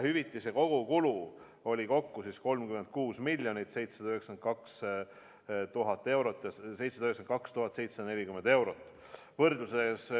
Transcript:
Hüvitise saajaid oli üle 20 000, täpsemalt 20 745.